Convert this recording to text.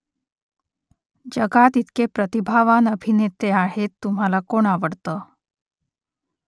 जगात इतके प्रतिभावान अभिनेते आहेत तुम्हाला कोण आवडतं ?